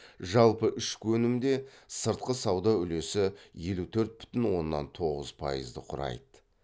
жалпы ішкі өнімде сыртқы сауда үлесі елу төрт бүтін оннан тоғыз пайызды құрайды